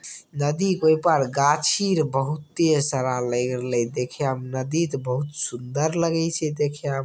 नदी के ओइ पार गाछ बहुत सारा देखाम नदी त बहुत सुंदर लगई छै देखाम।